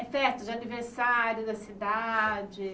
É, festa de aniversário da cidade.